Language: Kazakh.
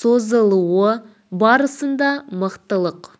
созылуы барысында мықтылық